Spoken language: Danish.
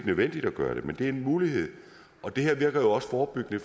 nødvendigt at gøre det men det er en mulighed og det her virker jo også forebyggende